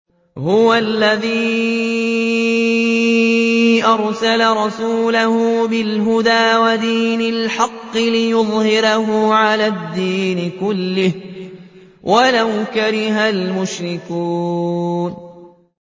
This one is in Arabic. هُوَ الَّذِي أَرْسَلَ رَسُولَهُ بِالْهُدَىٰ وَدِينِ الْحَقِّ لِيُظْهِرَهُ عَلَى الدِّينِ كُلِّهِ وَلَوْ كَرِهَ الْمُشْرِكُونَ